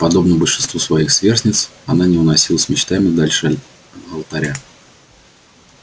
подобно большинству своих сверстниц она не уносилась мечтами дальше алтаря